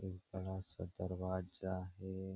एक बड़ा-सा दरवाजा हे।